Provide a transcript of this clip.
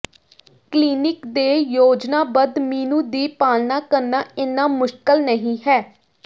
clinic ਦੇ ਯੋਜਨਾਬੱਧ menu ਦੀ ਪਾਲਣਾ ਕਰਨਾ ਇੰਨਾ ਮੁਸ਼ਕਲ ਨਹੀਂ ਹੈ